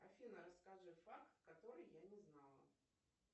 афина расскажи факт который я не знала